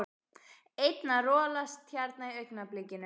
Einn að rolast hérna í augnablikinu.